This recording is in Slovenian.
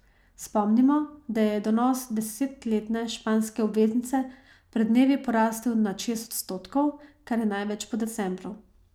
Spomnimo, da je donos desetletne španske obveznice pred dnevi porasel nad šest odstotkov, kar je največ po decembru.